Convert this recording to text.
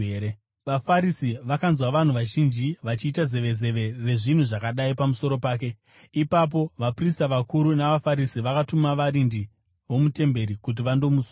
VaFarisi vakanzwa vanhu vazhinji vachiita zevezeve rezvinhu zvakadai pamusoro pake. Ipapo vaprista vakuru navaFarisi vakatuma varindi vomutemberi kuti vandomusunga.